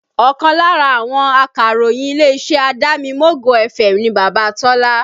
Ọkàn lára àwọn akàròyìn ilé-iṣẹ́ Adamimogo FM ni Baba Tola